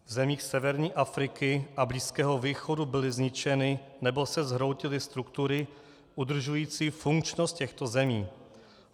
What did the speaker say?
V zemích severní Afriky a Blízkého východu byly zničeny nebo se zhroutily struktury udržující funkčnost těchto zemí.